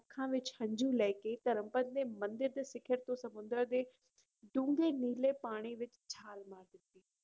ਅੱਖਾਂ ਵਿੱਚ ਹੰਝੂ ਲੈ ਕੇ ਧਰਮਪਦ ਨੇ ਮੰਦਿਰ ਦੇ ਸਿਖ਼ਰ ਤੋਂ ਸਮੁੰਦਰ ਦੇ ਡੂੰਘੇ ਨੀਲੇ ਪਾਣੀ ਵਿੱਚ ਛਾਲ ਮਾਰ ਦਿੱਤੀ।